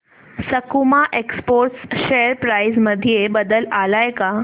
सकुमा exports share price मध्ये बदल आलाय का